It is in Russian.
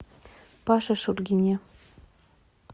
паше шульгине